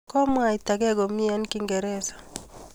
Komwaitagei komie eng kingereza